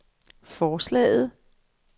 forslaget